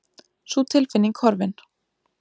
Sú tilfinning horfin.